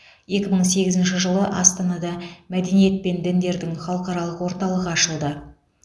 екі мың сегізінші жылы астанада мәдениет пен діндердің халықаралық орталығы ашылды